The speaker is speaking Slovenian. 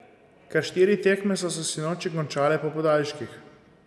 Kar štiri tekme so se sinoči končale po podaljških.